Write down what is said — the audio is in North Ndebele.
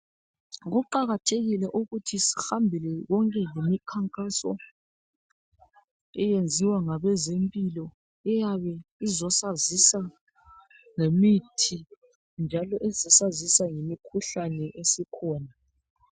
Kuqakathekile ukuthi sihambe imikhankaso eyenziwa ngabezempilakahle eyeba izosazisa ngemithi njalo esazisa ngemikhuhlane esikhona